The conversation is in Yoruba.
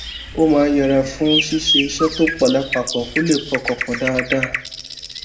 ó máa ń yẹra fún ṣíṣe iṣé tó pò lápapò kó lè pọkàn pò dáadáa